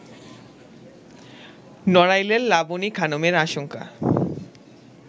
নড়াইলের লাবনি খানমের আশংকা